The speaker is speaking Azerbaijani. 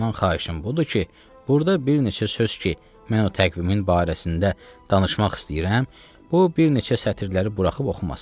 Ondan xahişim budur ki, burda bir neçə söz ki, mən o təqvimin barəsində danışmaq istəyirəm, bu bir neçə sətirləri buraxıb oxumasın.